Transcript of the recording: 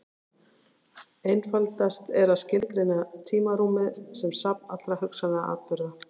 Einfaldast er að skilgreina tímarúmið sem safn allra hugsanlegra atburða.